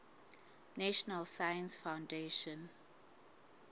national science foundation